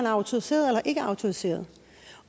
autoriseret eller ikke er autoriseret